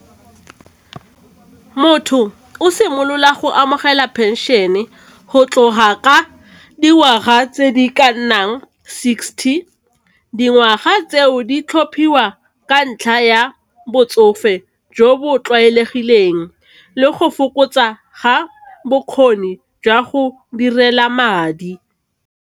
Motho o simolola go amogela phenšene go tloga ka dingwaga tse di ka nnang sixty, dingwaga tse o di tlhophiwa ka ntlha ya botsofe jo bo tlwaelegileng le go fokotsa ga bokgoni jwa go direla madi.